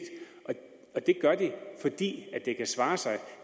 det gør de fordi det kan svare sig